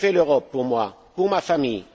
Que fait l'Europe pour moi, pour ma famille?